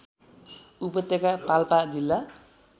उपत्यका पाल्पा जिल्ला